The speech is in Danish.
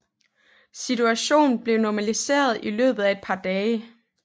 Situationen blev normaliseret i løbet af et par dage